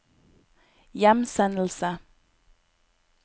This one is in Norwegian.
hjemsendelse